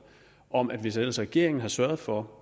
om at hvis ellers regeringen havde sørget for